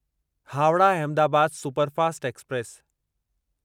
Howrah Ahmedabad superfast express